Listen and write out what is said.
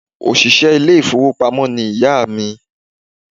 Òṣìṣẹ́ ilé ìfowópamó ni ìyá à mi